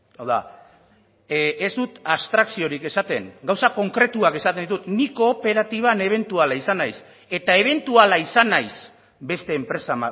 hau da ez dut abstrakziorik esaten gauza konkretuak esaten ditut nik kooperatiban ebentuala izan naiz eta ebentuala izan naiz beste enpresa